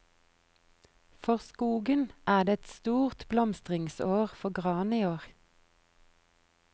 For skogen er det et stort blomstringsår for gran i år.